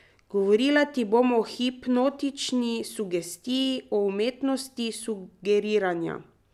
Govorila ti bom o hipnotični sugestiji, o umetnosti sugeriranja.